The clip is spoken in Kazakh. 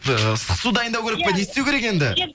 ыыы ыстық су дайындау керек па не істеу керек енді